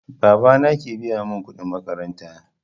Baba na ke biya mun kuɗin makaranta